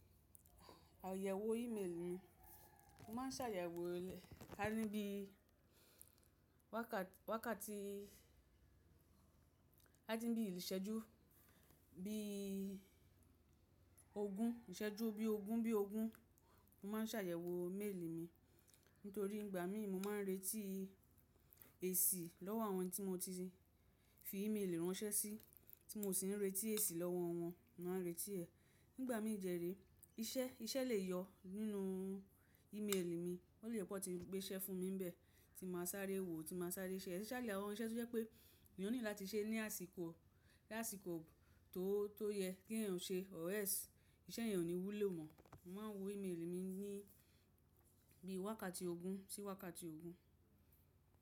Àyẹ̀wò ímélì mi, mo má ń ṣàyẹ̀wò, ka ni bí wákàtí, ka ni bí ìṣẹ́jú, bí ogún, ìṣẹ́jú bí ogún bí ogún mo má ń ṣàyẹ̀wò méèlì mi. Nítorí ìgbà mí mo má ń retí èsì lọ́wọ́ àwọn tí mo ti fi ímélì ránṣẹ́ sí, tí mo sì ń retí èsì lọ́wọ́ wọn, mo ma n retí ẹ̀. Nígbà mí de re, iṣẹ́ lè yọ nínú e-mail mi, ó lè pe won tí gbé iṣẹ́ fún mi níbẹ̀ tí mo máa sáré wo, tí mo máa sáré ṣe é. Especially àwọn iṣẹ́ tó jẹ́ pé èèyàn nílò láti ṣe ní àsìkò tó yẹ kí èèyàn ṣe or else iṣẹ́ yen ò ní wúlò mọ́. Mo má ń wo ímélì mi ní bí wákàtí ogún sí wákàtí ogún.